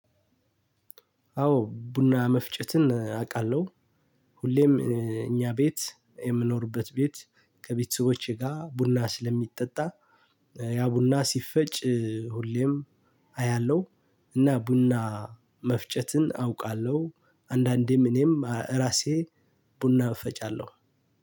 አዎ ቡና መፍጨትን እ አውቃለሁ። ሁሌም እ እኛ ቤት የምኖርበት ቤት ከቤተሰቦቼ ጋር ቡና ስለሚጠጣ እ ያ ቡና ሲፈጭ እ ሁሌም አያለሁ። እና ቡና መፍጨትን አውቃለሁ። አንዳንዴም እኔም እራሴ ቡና እፈጫለሁ።